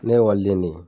Ne ye ekɔliden de ye